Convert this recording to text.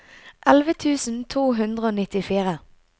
elleve tusen to hundre og nittifire